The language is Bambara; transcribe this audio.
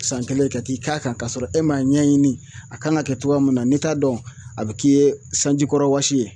San kelen ka t'i k'a kan k'a sɔrɔ e m'a ɲɛɲini a kan ka kɛ cogoya min na n'i t'a dɔn a bɛ k'i ye sanjikɔrɔwɔsi ye